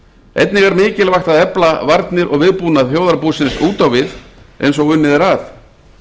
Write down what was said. einnig er mikilvægt að efla varnir og viðbúnað þjóðarbúsins út á við eins og unnið er að